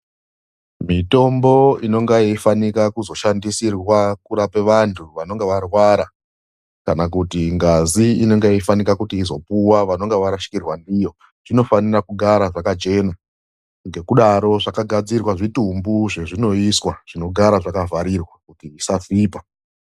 Mitombo inenge yeifanika kuzoshandisirwa kurapa vanthu vanonga varwara, kana kuti ngazi inenge yei fanika kuzopuwa vanonga varashikirwa ndiyo. Zvinofanira kugara zvakachena. Ngekudaro zvakagadzirirwa zvitumbu zvezvinoiswa, zvinogara zvakavharirwa kuti zvisasvipa.